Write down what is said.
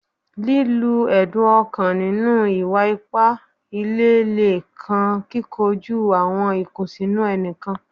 lilu ẹdun ọkan ninu iwa-ipa ile le kan kikoju awọn ikunsinu ẹnikan